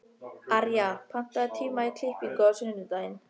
Arja, pantaðu tíma í klippingu á sunnudaginn.